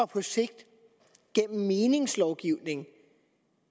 på sigt gennem meningslovgivning kan